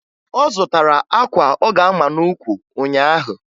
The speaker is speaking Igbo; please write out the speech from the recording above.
Ọ zụtara akwa ọ ga-ama n'ukwu ụnyaahụ